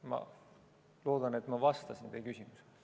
Ma loodan, et ma vastasin teie küsimusele.